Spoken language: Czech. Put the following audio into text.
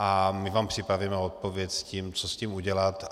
A my vám připravíme odpověď s tím, co s tím udělat.